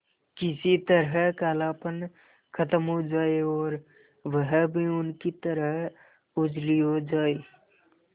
किसी तरह कालापन खत्म हो जाए और वह भी उनकी तरह उजली हो जाय